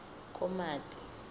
komati